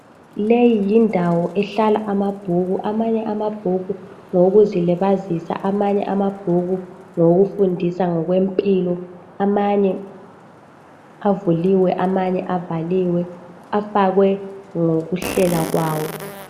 Leyi yindawo ehlala amabhuku, amanye amabhuku ngawokuzilibazisa, amanye amabhuku ngawokufundisa ngokwempilo. Amanye avuliwe, amanye avaliwe. Afakwe ngokuhlela kwawo